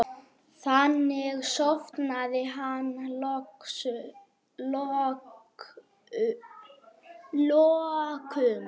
Þannig sofnaði hann að lokum.